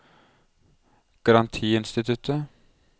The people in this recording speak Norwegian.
garantiinstituttet